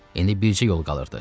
İndi bircə yol qalırdı.